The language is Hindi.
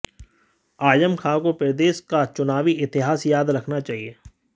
आजम खां को प्रदेश का चुनावी इतिहास याद रखना चाहिए